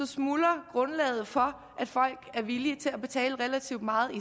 smuldrer grundlaget for at folk er villige til at betale relativt meget i